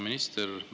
Hea minister!